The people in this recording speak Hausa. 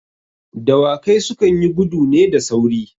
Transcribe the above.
Dawakai su kan yi gudu ne da sauri.